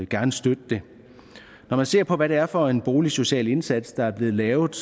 gerne støtte det når man ser på hvad det er for en boligsocial indsats der er blevet lavet